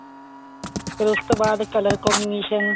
ਫੇਰ ਉਸ ਤੋਂ ਬਾਅਦ color combination